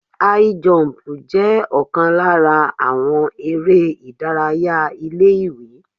High jump jẹ́ ọ̀kan lára àwọn eré ìdárayá ilé ìwé.